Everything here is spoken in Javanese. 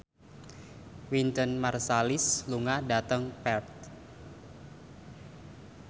Wynton Marsalis lunga dhateng Perth